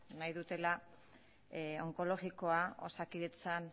nahi dutela onkologikoa osakidetzan